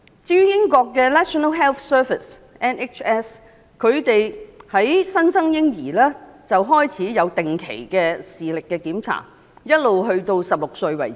至於英國的 National Health Service 從新生嬰兒階段開始，便提供定期的視力檢查，直到16歲為止。